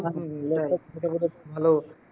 ভালো